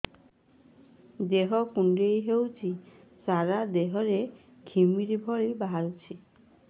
ଦେହ କୁଣ୍ଡେଇ ହେଉଛି ସାରା ଦେହ ରେ ଘିମିରି ଭଳି ବାହାରୁଛି